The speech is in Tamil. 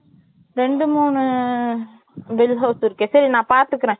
ரெண்டு மூணு bill house இருக்கு சரி நான் பாத்துக்குறேன்